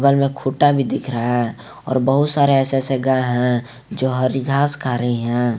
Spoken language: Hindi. इनमें खुटा भी दिख रहा है और बहुत सारे ऐसे ऐसे गाय हैं जो हरी घास खा रही हैं।